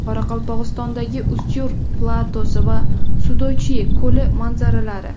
Qoraqalpog‘istondagi Ustyurt platosi va Sudochye ko‘li manzaralari .